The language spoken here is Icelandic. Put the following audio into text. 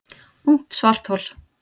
Ungt svarthol